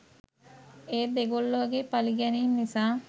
ඒත් දෙගොල්ලොගේ පළිගැනිම් නිසා